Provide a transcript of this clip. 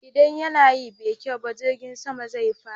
Idan yanayi bai kyau ba, jirgin sama zai fada.